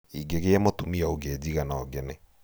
ingĩgĩa mũtumia ũngijiga no ngene